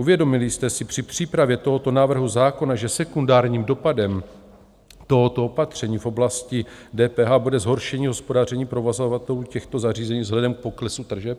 Uvědomili jste si při přípravě tohoto návrhu zákona, že sekundárním dopadem tohoto opatření v oblasti DPH bude zhoršení hospodaření provozovatelů těchto zařízení vzhledem k poklesu tržeb?